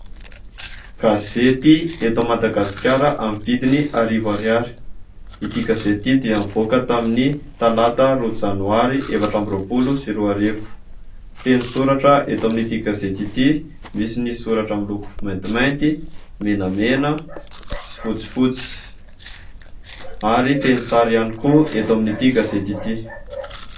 Gazety eto Madagasikara amin'ny vidiny arivo ariary. Ity gazety ity dia nivoaka tamin'ny talata roa janoary efatra amby roapolo sy roa arivo. Feno soratra eto amin'ity gazety ity. Misy ny soratra miloko maintimainty, menamena sy fotsifotsy ary feno sary ihany koa eto amin'ity gazety ity.